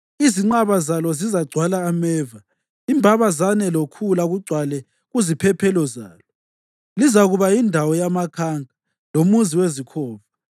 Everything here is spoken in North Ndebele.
Izinqaba zalo zizagcwala ameva, imbabazane lokhula kugcwale kuziphephelo zalo. Lizakuba yindawo yamakhanka, lomuzi wezikhova.